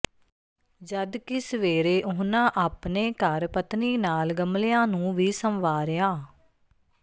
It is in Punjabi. ਜਦਕਿ ਸਵੇਰੇ ਉਨ੍ਹਾਂ ਆਪਣੇ ਘਰ ਪਤਨੀ ਨਾਲ ਗਮਲਿਆਂ ਨੂੰ ਵੀ ਸੰਵਾਰਿਆਂ